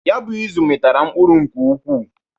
Ya bụ izụ mitara mkpụrụ nke ụkwụ.